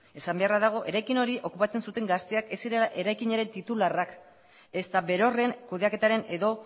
esan beharra dago eraikin hori okupatzen zuten gazteak ez zirela eraikinaren titularrak ezta berorren kudeaketaren edo